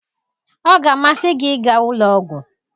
Ọ ga-amasị gị ịga ụlọ ọgwụ